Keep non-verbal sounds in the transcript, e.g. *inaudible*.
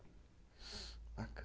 *unintelligible* Baca